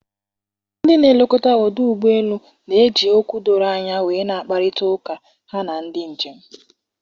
Ndị na-elekọta ọdụ ụgbọ elu na-eji okwu dọrọ anya wee na-agkparịta ụka ha na ndị njem.